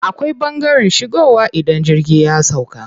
Akwai ɓangaren shigowa idan jirgi ya sauƙa.